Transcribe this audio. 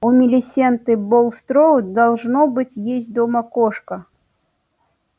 у милисенты булстроуд должно быть есть дома кошка